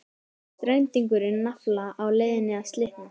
Strengurinn nafla á leiðinni að slitna.